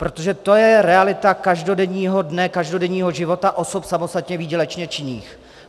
Protože to je realita každodenního dne, každodenního života osob samostatně výdělečně činných.